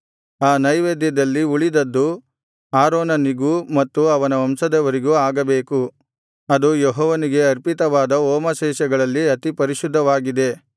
ಆ ನೈವೇದ್ಯದಲ್ಲಿ ಉಳಿದದ್ದು ಆರೋನನಿಗೂ ಮತ್ತು ಅವನ ವಂಶದವರಿಗೂ ಆಗಬೇಕು ಅದು ಯೆಹೋವನಿಗೆ ಅರ್ಪಿತವಾದ ಹೋಮಶೇಷಗಳಲ್ಲಿ ಅತಿಪರಿಶುದ್ಧವಾಗಿದೆ